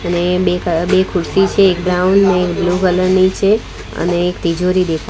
અને બે બે ખુરસી છે એક બ્રાઉન ને એક બ્લુ કલર ની છે અને એક તિજોરી દે --